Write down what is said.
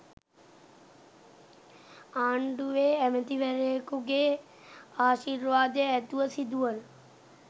ආණ්ඩුවේ ඇමතිවරයෙකු ගේ ආශිර්වාදය ඇතිව සිදුවන